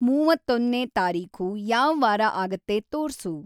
ಮೂವತ್ತೊಂದ್ನೇ ತಾರೀಖು ಯಾವ್‌ ವಾರ ಆಗತ್ತೆ ತೋರ್ಸು